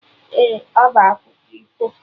Ee, ọ bụ akụkọ ifo